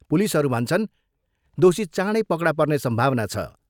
पुलिसहरू भन्छन्, दोषी चाँडै पकडा पर्ने सम्भावना छ।